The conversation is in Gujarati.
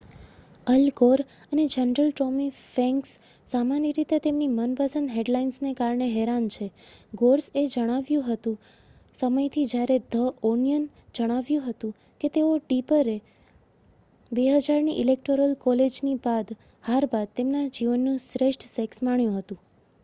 અલ ગોર અને જનરલ ટોમી ફ્રેન્ક્સ સામાન્ય રીતે તેમની મનપસંદ હેડલાઇન્સને કારણે હેરાન છે ગોર્સ એ સમયથી જ્યારે ધ ઓનિયનએ જણાવ્યું હતું કે તેઓ અને ટિપરે 2000ની ઇલેક્ટોરલ કોલેજની હાર બાદ તેમના જીવનનું શ્રેષ્ઠ સેક્સ માણ્યું હતું